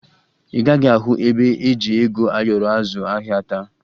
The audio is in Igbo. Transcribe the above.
Ị gaghị ahụ ebe eji ego ayọrọ azụ ahịa taa